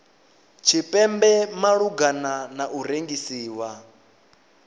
tshipembe malugana na u rengisiwa